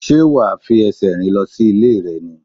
Sé wà á fi esè rìn lo sí Ilé rè ni?